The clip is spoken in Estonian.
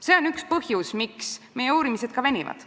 See on üks põhjusi, miks meie uurimised venivad.